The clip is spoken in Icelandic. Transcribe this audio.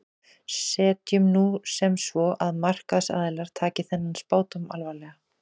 Setjum nú sem svo að markaðsaðilar taki þennan spádóm alvarlega.